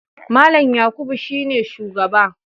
Mallam Yakubu shine shugaba.